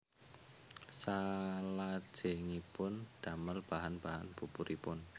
Salajengipun damel bahan bahan buburipun